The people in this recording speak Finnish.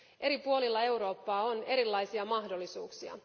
Eri puolilla Eurooppaa on erilaisia mahdollisuuksia.